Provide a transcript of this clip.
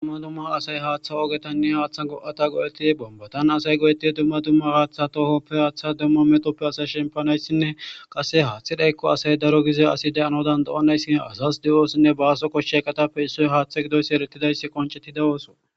Dumma dumma asay haaththa ogetanne haaththa go'ata go'eti bombatan asay go'eti dumma dumma gaaththa tohoppe haaththa dumma metoppe asa shempanayssinne qase haaththi dhaykko asay daro gize asi de'ano dan do7onayssin azas di'osinne baaso koshshey katappe issoy haaththa gidoys erettidayssi qoncetti dewoso